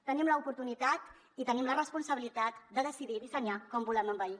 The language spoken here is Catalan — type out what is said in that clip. tenim l’oportunitat i tenim la responsabilitat de decidir dissenyar com volem envellir